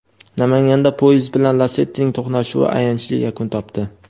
Namanganda poyezd bilan "Lasetti"ning to‘qnashuvi ayanchli yakun topdi.